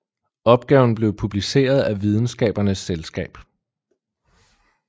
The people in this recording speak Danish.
Opgaven blev publiceret af Videnskabernes Selskab